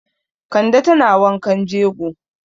Kande tana wankan jego.